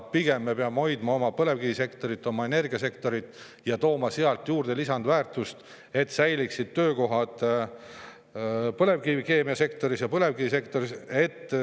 Pigem me peame hoidma oma põlevkivisektorit, oma energiasektorit ja tekitama seal juurde lisandväärtust, et säiliksid töökohad põlevkivikeemiasektoris ja põlevkivisektoris.